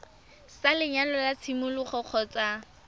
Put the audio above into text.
sa lenyalo sa tshimologo kgotsa